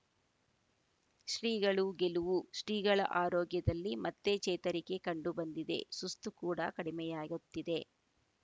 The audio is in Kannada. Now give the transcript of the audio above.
ಶ್ರೀಗಳು ಗೆಲುವು ಶ್ರೀಗಳ ಆರೋಗ್ಯದಲ್ಲಿ ಮತ್ತೆ ಚೇತರಿಕೆ ಕಂಡು ಬಂದಿದೆ ಸುಸ್ತು ಕೂಡ ಕಡಿಮೆಯಾಗುತ್ತಿದೆ